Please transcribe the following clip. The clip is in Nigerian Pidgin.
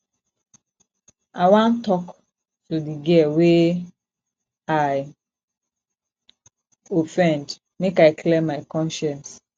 i wan tok to di girl wey i offendmake i clear my conscience